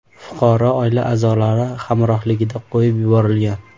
Fuqaro oila a’zolari hamrohligida qo‘yib yuborilgan.